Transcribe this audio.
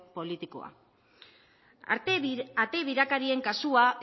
politikoa ate birakarien kasua